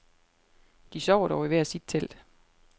De sover dog i hver sit telt.